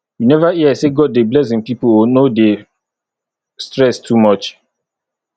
you never hear sey god dey bless im pipu o no dey stress too much